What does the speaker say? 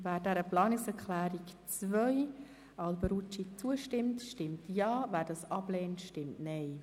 Wer der Planungserklärung zustimmt, stimmt Ja, wer diese ablehnt, stimmt Nein.